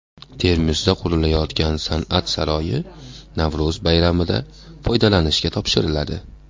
Termizda qurilayotgan San’at saroyi Navro‘z bayramida foydalanishga topshiriladi.